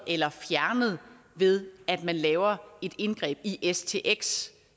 eller fjernet ved at man laver et indgreb i stx